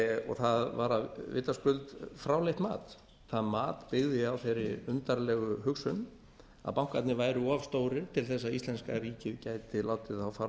og það var að vitaskuld fráleitt mat það mat byggði á þeirri undarlegu hugsun að bankarnir væru of stórir til að íslenska ríkið gæti látið þá fara á